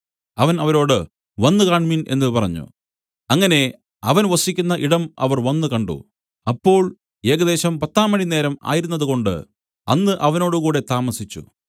അവൻ അവരോട് വന്നുകാണ്മിൻ എന്നു പറഞ്ഞു അങ്ങനെ അവൻ വസിക്കുന്ന ഇടം അവർ വന്നുകണ്ടു അപ്പോൾ ഏകദേശം പത്താം മണിനേരം ആയിരുന്നതുകൊണ്ട് അന്ന് അവനോടുകൂടെ താമസിച്ചു